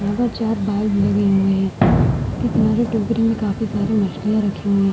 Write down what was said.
मगर चार बाउल लगे हुए हैं एक किनारे टोकरी में काफी सारी मछलियां रखी हुई --